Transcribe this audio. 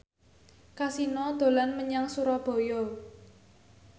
Kasino dolan menyang Surabaya